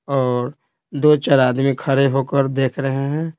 और दो-चार आदमी खड़े होकर देख रहे हैं।